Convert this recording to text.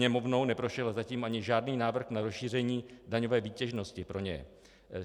Sněmovnou neprošel zatím ani žádný návrh na rozšíření daňové výtěžnosti pro ně.